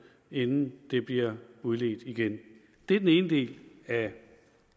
inden det bliver udledt igen det er den ene del af